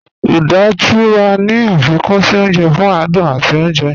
Uda tí wà ní afikún sí ọ̀nje fún àdùn àti ọ̀nje